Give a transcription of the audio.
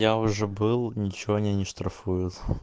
я уже был ничего они не штрафуют